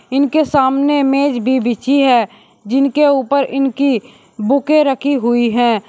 इनके सामने मेज भी बिछी है जिनके ऊपर इनकी बुके रखी हुई है।